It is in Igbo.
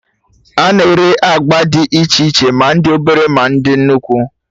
A na-ere agba dị iche iche, ma ndị obere, ma dị nnukwu